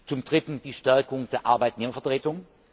zum Dritten die Stärkung der Arbeitnehmervertretung.